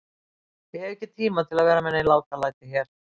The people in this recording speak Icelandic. Ég hef ekki tíma til að vera með nein látalæti hér.